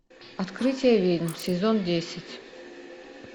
открытие ведьм сезон десять